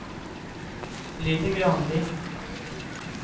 Lilly Granli